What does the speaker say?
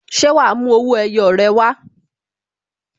Ṣé wa mú owó ẹyọ rẹ wá?